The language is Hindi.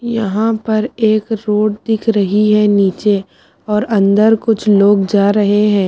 यहा पर एक रोड दिख रहा है निचे और अन्दर कुछ लोग जा रहे है ।